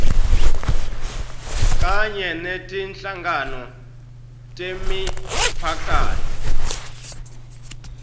kanye netinhlangano temiphakatsi